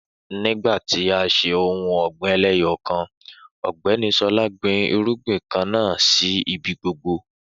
Nígbà tí a ń ṣe ohun ọ̀gbìn eléyọkan Ọ̀gbẹ́ni Sọlá gbin irúgbìn kan náà sì ibi gbogbo